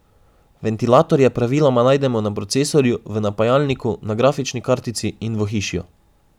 Ventilatorje praviloma najdemo na procesorju, v napajalniku, na grafični kartici in v ohišju.